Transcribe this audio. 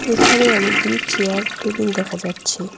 এখানে অনেকগুলি chair table দেখা যাচ্ছে।